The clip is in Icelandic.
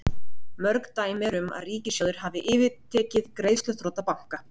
mörg dæmi eru um að ríkissjóðir hafi yfirtekið greiðsluþrota banka